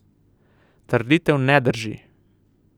Trditev ne drži.